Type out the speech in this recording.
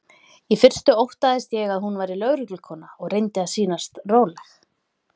Í fyrstu óttaðist ég að hún væri lögreglukona og reyndi að sýnast róleg.